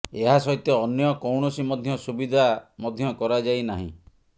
ଏହା ସହିତ ଅନ୍ୟ କୌଣସି ମଧ୍ୟ ସୁବିଧା ମଧ୍ୟ କରାଯାଇ ନାହିଁ